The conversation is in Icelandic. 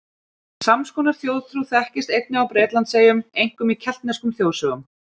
Sams konar þjóðtrú þekkist einnig á Bretlandseyjum, einkum í keltneskum þjóðsögum.